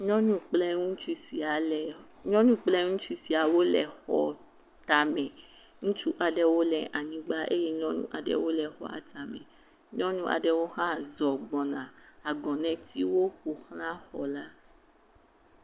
Nyɔnu kple ŋutsu sia le, nyɔnua kple ŋutsu siawo le xɔ tame. Ŋutsu aɖewo le anyigba eye nyɔnu aɖewo le xɔa tame. Nyɔnu aɖewo hã zɔ gbɔna. Agɔnɛtiwo ƒo ʋlã xɔla.